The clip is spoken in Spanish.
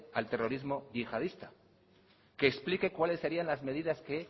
al terrorismo yihadista que explique cuáles serian las medidas que